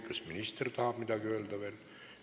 Kas minister tahab veel midagi öelda?